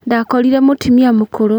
Ndakorire mũtumia mũkorũ